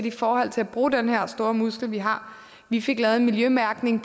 i forhold til at bruge den her store muskel vi har vi fik lavet en miljømærkning